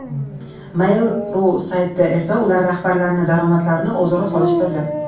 Mail.ru sayti esa ular rahbarlarining daromadlarini o‘zaro solishtirdi .